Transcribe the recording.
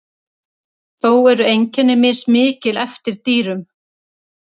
þó eru einkenni mismikil eftir dýrum